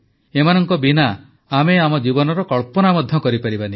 ଏମାନଙ୍କ ବିନା ଆମେ ଆମ ଜୀବନର କଳ୍ପନା ମଧ୍ୟ କରିପାରିବା ନାହିଁ